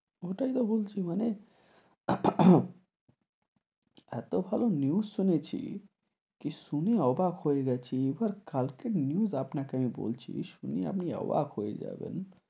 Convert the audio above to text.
ওটাই তো বলছি মানে এতো ভালো news শুনেছি, কি শুনে অবাক হয়ে গেছি, এবার কালকের news আপনাকে আমি বলছি, শুনে আপনি অবাক হয়ে যাবেন,